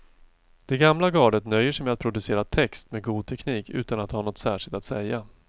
Det gamla gardet nöjer sig med att producera text med god teknik utan att ha något särskilt att säga.